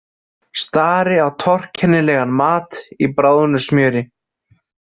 Stari á torkennilegan mat í bráðnu smjöri.